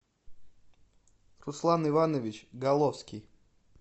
руслан иванович головский